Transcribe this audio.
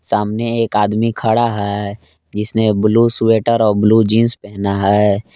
सामने एक आदमी खड़ा है जिसने ब्लू स्वेटर और ब्लू जींस पहना है।